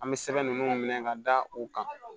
An bɛ sɛbɛn ninnu minɛ ka da u kan